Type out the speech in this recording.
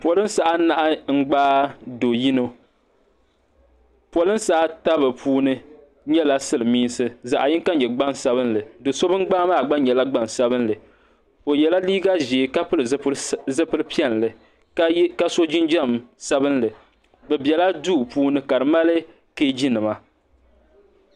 Polinsi anahi n gbaagi do'yino polinsi ata bɛ puuni nyɛla silimiinsi ka zaɣa yinka nyɛ gbansabili do'so bini gbaagi maa nyɛla gbansabinli o yrla liiga ʒee ka piri zipil'piɛlli ka so jinjiɛm sabinli bɛ biɛla duu puuni ka di mali keeji nima.